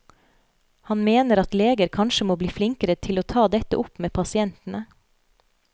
Han mener at leger kanskje må bli flinkere til å ta dette opp med pasientene.